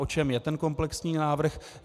O čem je ten komplexní návrh?